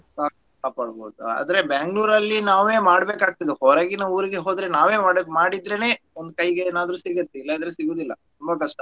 ಕಾ~ ಕಾಪಾಡ್ಬೋದು ಆದ್ರೆ Bangalore ಅಲ್ಲಿ ನಾವೇ ಮಾಡ್ಬೇಕಾಗ್ತದೆ ಹೊರಗಿನ ಊರಿಗೆ ಹೋದ್ರೆ ನಾವೇ ಮಾಡ್~ ಮಾಡಿದ್ರೆನೇ ಒಂದ್ ಕೈಗೆ ಏನಾದ್ರು ಸಿಗುತ್ತೆ ಇಲ್ಲಾಂದ್ರೆ ಸಿಗೋದಿಲ್ಲಾ ತುಂಬ ಕಷ್ಟ.